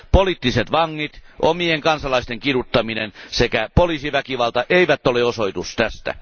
Poliittiset vangit, omien kansalaisten kiduttaminen sekä poliisiväkivalta eivät ole osoitus tästä.